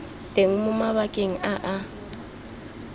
teng mo mabakeng a a